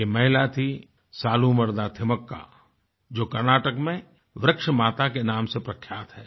यह महिला थी सालूमरदा थिमक्का जो कर्नाटक में वृक्ष माता के नाम से प्रख्यात हैं